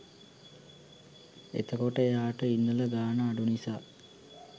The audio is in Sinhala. එතකොට එයාට ඉන්නල ගාණ අඩු නිසා